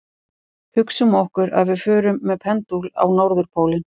Hugsum okkur að við förum með pendúl á norðurpólinn.